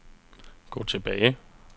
gå tilbage